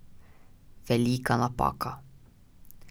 Velika napaka.